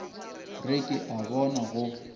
re ke a bona go